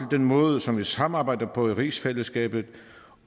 den måde som vi samarbejder på i rigsfællesskabet